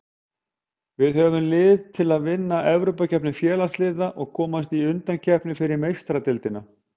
Við höfum lið til að vinna Evrópukeppni Félagsliða og komast í undankeppni fyrir Meistaradeildina.